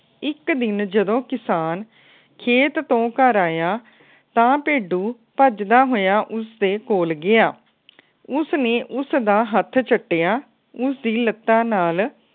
ਇੱਕ ਦਿਨ ਜਦੋ ਕਿਸਾਨ ਖੇਤ ਤੋਂ ਘਰ ਆਇਆ ਤਾ ਭੇਡੂ ਭੱਜਦਾ ਹੋਇਆ ਉਸਦੇ ਕੋਲ ਗਿਆ। ਉਸ ਨੇ ਉਸ ਦਾ ਹੱਥ ਚਟਿਆ ਉਸ ਦੀ ਲੱਤਾਂ ਨਾਲ